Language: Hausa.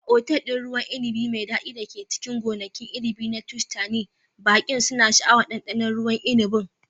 A otal ɗin ruwan inibi mai daɗi da ke cikin gonakin inibi na Tuscany, baƙi suna sha'awar ɗanɗano ruwan inibin.